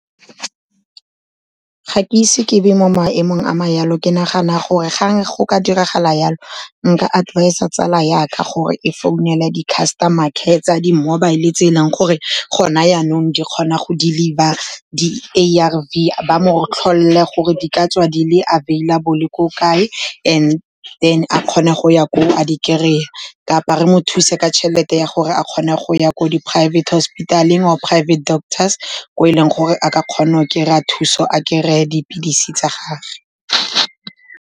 Ga ke ise ke be mo maemong a ma jalo, ke nagana gore ga go ka diragala jalo nka advise-a tsala jaka gore e founela di-customer care tsa di-mobile-e tse e leng gore gona janong di kgona go deliver di-A_R_V, ba mo tlholele gore di ka tswa di le available ko kae and then a kgone go ya ko a di kry-e. Kapa re mo thuse ka tšhelete ya gore a kgone go ya ko di private hospitaleng or private doctors, ko e leng gore a ka kgona go kry-a thuso, a kry-e dipilisi tsa gagwe.